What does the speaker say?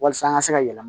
Walasa an ka se ka yɛlɛma